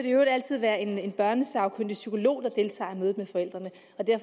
i øvrigt altid være en en børnesagkyndig psykolog der deltager i mødet med forældrene